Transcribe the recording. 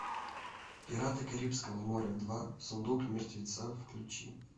пираты карибского моря два сундук мертвеца включи